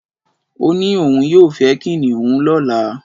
O ni oun yoo fe kiniun lola